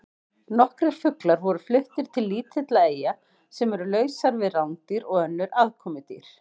Nokkrir fuglar voru fluttir til lítilla eyja sem eru lausar við rándýr og önnur aðkomudýr.